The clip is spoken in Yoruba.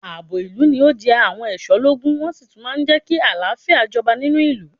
Àbò ìlú ni o jẹ àwọn ẹ̀ṣọ́ lógún ,wọ́n sí tún máa ń mú kí àlàáfíà jọba nínú ìlú.